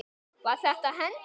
Var þetta hendi?